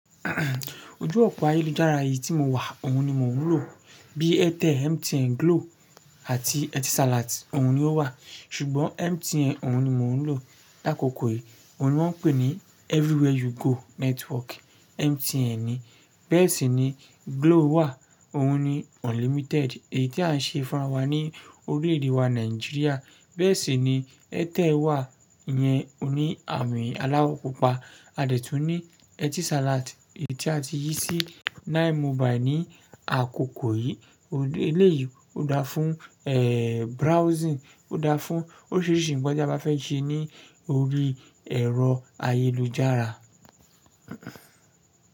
Ojú òpó ayélujára yìí tí mo wà, òun ni mò ń lò. Bí AirTel, MTN, Glo àti Etisalat, òun ni ó wà. Ṣùgbọ́n MTN òun ni mò ń lò lákòókò yìí. Òun ni wọ́n ń pè ní Everywhere You Go Network, MTN ni. Bẹ́ẹ̀ sì ni Glo wà, òun ni Unlimited èyí tí à ń ṣe fún ara wa ní orílẹ̀ ede wa Nàìjíríà. Bẹ́ẹ̀ sì ni AirTel wà iyẹn, ó ní àmì aláwọ̀ pupa. A dẹ̀ tún ní Etisalat èyí tí a ti yí sí Nine Mobile ní àkókò yìí. Eléyìí ó dáa fún, eh, browsing, ó dáa fún oríṣìíríṣìí ǹkan tí a bá fẹ́ ṣe ní orí ẹ̀rọ ayélujára.